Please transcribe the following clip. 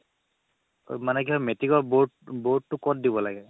মানে কি হয় মেট্ৰিকৰ board board টো ক'ত দিব লাগে